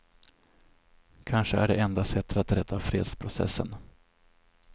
Kanske är det enda sättet att rädda fredsprocessen.